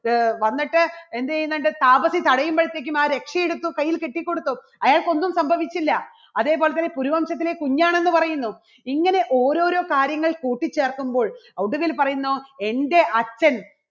അഹ് വന്നിട്ട് എന്ത് ചെയ്യുന്നുണ്ട്? താപ്വസി തടയുമ്പോഴത്തേക്കും ആ രക്ഷ എടുത്ത് കയ്യിൽ കെട്ടിക്കൊടുത്തു അയാൾക്ക് ഒന്നും സംഭവിച്ചില്ല അതേപോലെതന്നെ കുരു വംശത്തിലെ കുഞ്ഞാണെന്ന് പറയുന്നു ഇങ്ങനെ ഓരോരോ കാര്യങ്ങൾ കൂട്ടിച്ചേർക്കുമ്പോൾ ഒടുവിൽ പറയുന്നു എൻറെ അച്ഛൻ